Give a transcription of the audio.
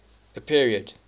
a period